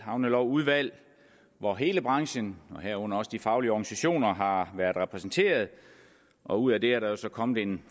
havnelovudvalg hvor hele branchen herunder også de faglige organisationer har været repræsenteret og ud af det er der så kommet en